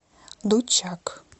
дутчак